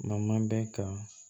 N'an man bɛn kan